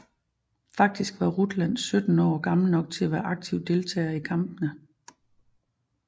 Faktisk var Rutland 17 år og gammel nok til at være aktiv deltager i kampene